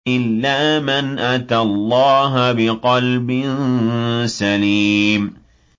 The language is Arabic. إِلَّا مَنْ أَتَى اللَّهَ بِقَلْبٍ سَلِيمٍ